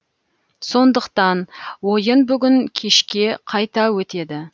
сондықтан ойын бүгін кешке қайта өтеді